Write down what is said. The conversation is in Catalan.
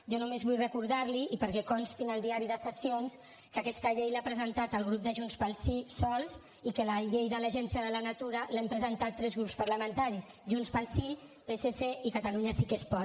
jo només vull recordar li i perquè consti en el diari de sessions que aquesta llei l’ha presentat el grup de junts pel sí sols i que la llei de l’agencia de la natura l’hem presentat tres grups parlamentaris junts pel sí psc i catalunya sí que es pot